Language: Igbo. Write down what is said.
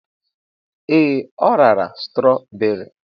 Ee, o rara strawberry.